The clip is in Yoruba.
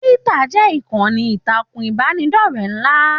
Twitter jẹ ìkànnì ìtàkùn ìbánidọ̀rẹ̀ nla.